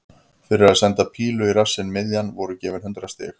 Fyrir að senda pílu í rassinn miðjan voru gefin hundrað stig.